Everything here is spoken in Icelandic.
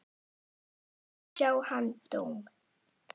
Hér má sjá þann dóm.